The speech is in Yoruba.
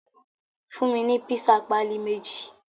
Fun mi ni pisa pali meji